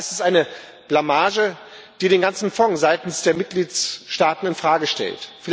Das ist eine Blamage, die den ganzen Fonds seitens der Mitgliedstaaten in Frage stellt.